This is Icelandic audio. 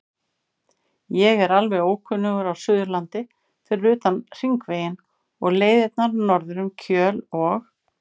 Ég er alveg ókunnugur á Suðurlandi fyrir utan Hringveginn og leiðirnar norður um Kjöl og